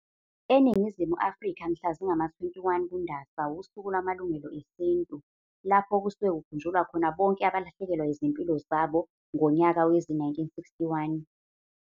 ENingizimu Afrika mhla zingama-21 kuNdasa wusuku lwaMalungelo eSintu, lapho kusuke kukhunjulwa khona bonke abalahlekelwa izimpilo zabo bemsaha ngonyaka wezi-1961.